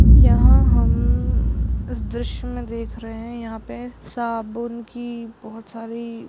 यहाँ हम इस दृश्य में देख रहे हैं यहाँ पे साबुन की बोहोत सारी--